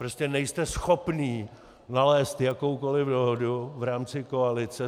Prostě nejste schopní nalézt jakoukoli dohodu v rámci koalice.